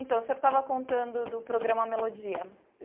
Então, o senhor estava contando do programa Melodia.